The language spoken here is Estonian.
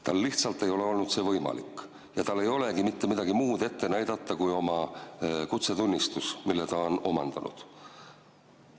Tal lihtsalt ei ole olnud see võimalik ja tal ei olegi midagi muud ette näidata kui kutsetunnistus, mille ta on omandanud.